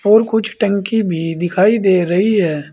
और कुछ टंकी भी दिखाई दे रही है।